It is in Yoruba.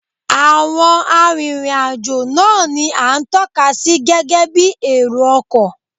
Àwọn arìnrìn-àjò náà ni à ń tọ́ka sí gẹ́gẹ́ bí èrò ọkọ̀